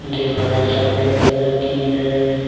दीवार सफेद कलर की है।